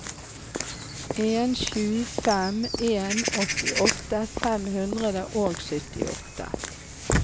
en sju fem en åttiåtte fem hundre og syttiåtte